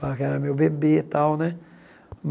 Falava que era meu bebê tal, né?